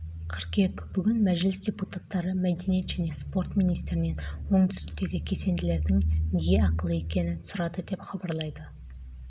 қыркүйек бүгін мәжіліс депутаттары мәдениет және спорт министрінен оңтүстіктегі кесенелердің неге ақылы екенін сұрады деп хабарлайды